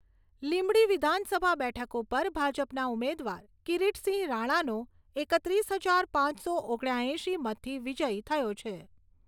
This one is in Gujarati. લીંબડી વિધાનસભા બેઠક ઉપર ભાજપના ઉમેદવાર કિરીટસિંહ રાણાનો એકત્રીસ હજાર પાંચસો ઓગણ્યા એંશી મતથી વિજય થયો છે.